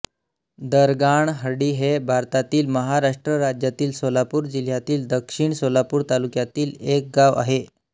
दरगाणहळ्ळी हे भारतातील महाराष्ट्र राज्यातील सोलापूर जिल्ह्यातील दक्षिण सोलापूर तालुक्यातील एक गाव आहे